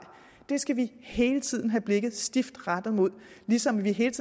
det skal vi hele tiden have blikket stift rettet mod ligesom vi hele